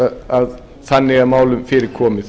að þannig er þeim málum fyrir komið